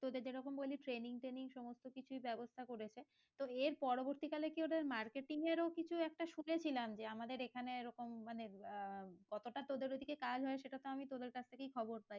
তোদের যেরোকম বললি training training সমস্ত কিছু ব্যাবস্থা করেছে তো এর পরবর্তী কালে কি ওদের marketing এরো কিছু একটা শুনেছিলাম যে আমাদের এখানে ওরকম মানেআহ কতটা তোদের ওদিকে কাজ হয় সেটা তো আমি তোদের কাছ থেকেই খবর পাই